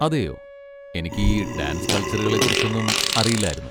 അതെയോ! എനിക്ക് ഈ ഡാൻസ് കൾച്ചറുകളെക്കുറിച്ചൊന്നും അറിയില്ലായിരുന്നു.